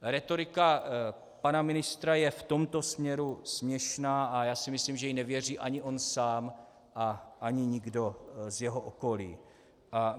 Rétorika pana ministra je v tomto směru směšná a já si myslím, že jí nevěří ani on sám a ani nikdo z jeho okolí.